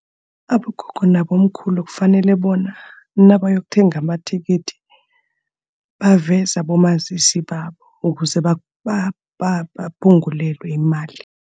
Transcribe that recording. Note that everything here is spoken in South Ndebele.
Abogogo nabomkhulu kufanele bona nabayokuthenga amathikithi, baveze abomazisi babo, ukuze baphungulelwe imali.